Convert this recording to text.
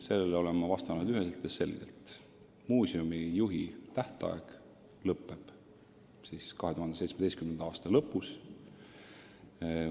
Sellele olen ma vastanud üheselt ja selgelt: muuseumi juhi ametiaeg lõpeb 2017. aasta lõpus.